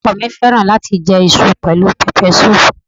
Ọkọ ọ̀ mi fẹ́ràn láti jẹ iṣu pẹ̀lú pẹpẹsúùpù.